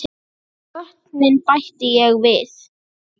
Og vötnin bætti ég við.